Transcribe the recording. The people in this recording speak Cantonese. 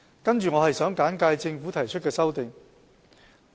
接着，我想簡介政府提出的修正案。